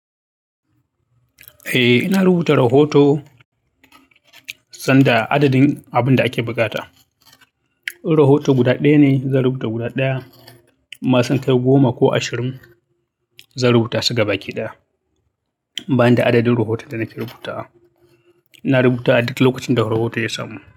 Eh, ina rubuta rahoto sanda adadin abin da ake buƙata. Rahoto guda ɗaya ne, zan rubuta guda ɗaya. Mashin kai goma ko ashirin zan rubuta su gaba ɗaya. Ban da adadin rahoton da nake rubuta, ina rubuta duk lokacin da rahoto ya samu.